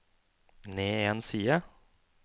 ned en side